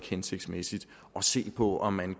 hensigtsmæssigt at se på om man